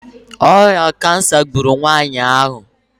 ọrịa kansa gburu nwanyị ahụ